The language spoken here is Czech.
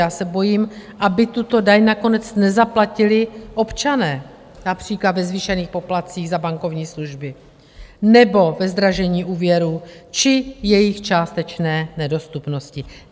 Já se bojím, aby tuto daň nakonec nezaplatili občané, například ve zvýšených poplatcích za bankovní služby nebo ve zdražení úvěrů či jejich částečné nedostupnosti.